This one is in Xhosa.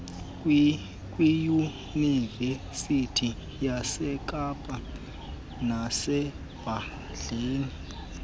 kwiyunivesithi yasekapa nesibhedlele